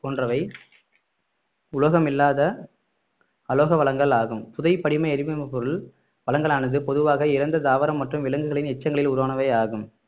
போன்றவை உலோகமில்லாத அலோக வளங்கள் ஆகும் புதைபடிம எரி பொருள் வளங்களானது பொதுவாக இறந்த தாவரம் மற்றும் விலங்குகளின் எச்சங்களில் உருவானவை ஆகும்